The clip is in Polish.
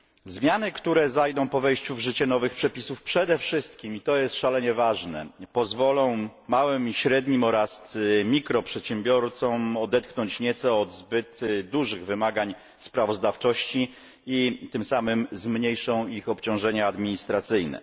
Zmiany, które zajdą po wejściu w życie nowych przepisów, przede wszystkim i to jest szalenie ważne pozwolą małym i średnim przedsiębiorcom oraz mikroprzedsiębiorcom odetchnąć nieco od zbyt dużych wymagań sprawozdawczości i tym samym zmniejszą ich obciążenia administracyjne.